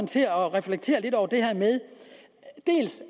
til at reflektere lidt over det her med